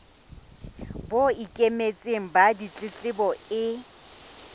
bo ikemetseng ba ditletlebo e